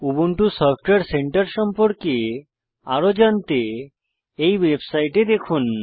Ubuntu software center সম্পর্কে আরো জানতে এই ওয়েবসাইটে দেখুন